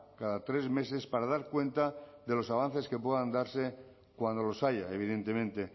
cada tres meses para dar cuenta de los avances que puedan darse cuando los haya evidentemente